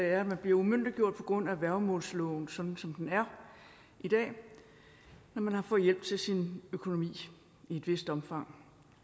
er at man bliver umyndiggjort på grund af værgemålsloven sådan som den er i dag når man har fået hjælp til sin økonomi i et vist omfang